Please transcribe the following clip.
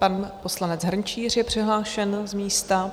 Pan poslanec Hrnčíř je přihlášen z místa.